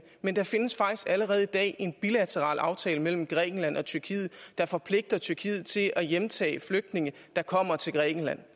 men der findes faktisk allerede i dag en bilateral aftale mellem grækenland og tyrkiet der forpligter tyrkiet til at hjemtage flygtninge der kommer til grækenland